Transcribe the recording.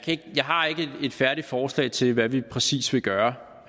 har ikke et færdigt forslag til hvad vi præcis vil gøre